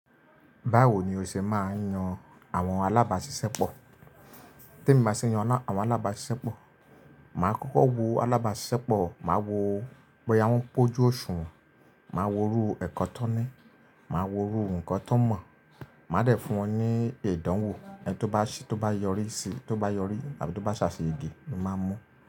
Báwo ni o ṣe máa ń yan àwọn alábàáṣiṣẹ́pọ̀? Tí emi bá ṣe ń yan àwọn alábáàṣìṣẹ́pọ̀, màá kókó wo alábáàṣìṣẹ́pọ̀, màá wo bọ́yá wọ́n pójú òṣùwọ̀n, màá wo irú ẹ̀kọ́ tón ní, màá wo irú ǹkan tón mọ̀, màá dẹ̀ fún wọn ní ìdánwò, ẹni tó bá yọrí sí, tó bá yọrí àbí tó bá ṣàṣeyege ni màá n mú.